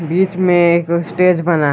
बीच में एक स्टेज बना है।